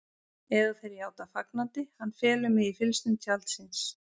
Eða þeir játa fagnandi: Hann felur mig í fylgsnum tjalds síns.